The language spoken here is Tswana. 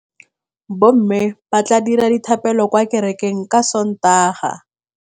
Bommê ba tla dira dithapêlô kwa kerekeng ka Sontaga.